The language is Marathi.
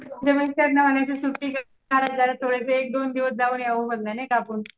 मुलांच्या उन्हाळ्याच्या सुट्टीत एक दोन दिवस जाऊन यावं म्हणलं नाही का आपण.